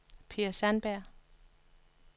Per Sandberg